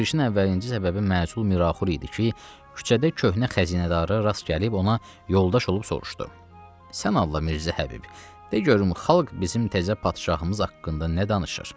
Şurişin əvvəlinci səbəbi məhzul Miraxur idi ki, küçədə köhnə xəzinədara rast gəlib ona yoldaş olub soruşdu: “Sən Allah Mirzə Həbib, de görüm xalq bizim təzə padşahımız haqqında nə danışır?”